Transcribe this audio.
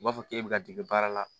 U b'a fɔ k'e bɛ ka dege baara la